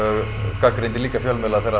gagnrýndi líka fjölmiðla þegar